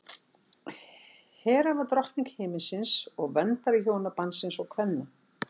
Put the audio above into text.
hera var drottning himinsins og verndari hjónabandsins og kvenna